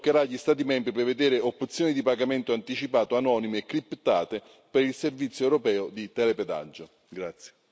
Per evitare ciò, toccherà agli Stati membri prevedere opzioni di pagamento anticipato anonime e criptate per il servizio europeo di telepedaggio.